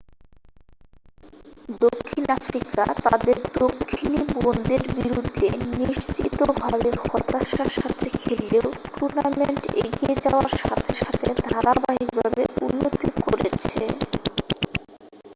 দক্ষিণ আফ্রিকা তাদের দক্ষিণী বোনদের বিরুদ্ধে নিশ্চিতভাবে হতাশার সাথে খেললেও টুর্নামেন্ট এগিয়ে যাওয়ার সাথে সাথে ধারাবাহিকভাবে উন্নতি করেছে